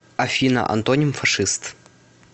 афина антоним фашист